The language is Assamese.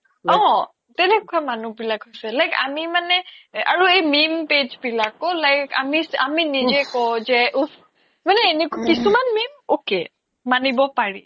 অ কেনেকুৱা মানুহ বিলাক হৈছে like আমি মানে আৰু এই meme page বিলাক আমি নিজে কও যে উফ মানে এনেকুৱা কিছুমান meme ok মানিব পাৰি